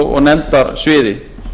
og nefndasviði